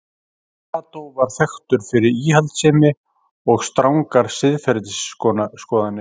Kató var þekktur fyrir íhaldssemi og strangar siðferðisskoðanir.